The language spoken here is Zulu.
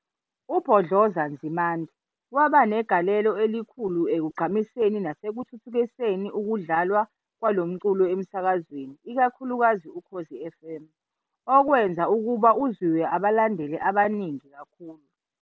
UBhodloza Nzimande waba negaleleo elikhulu ekugqamiseni nasekuthuthukiseni ukudlalwa kwalomculo emsakazweni ikakhulukazi uKhozi FM, okwenza ukuba uzwiwe abalandeli abaningi kakhulu